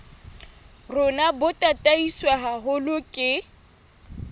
rona bo tataiswe haholo ke